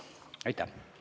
Aitäh!